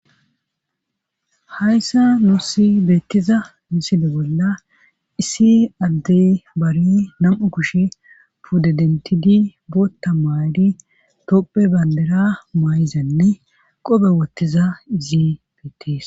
Hayssa nuussi beettiza miside bolla issi addey bari nam'u kushe pude dentidi bootta maadi topphe bandera maayizanne qobe wottiza izi beettees.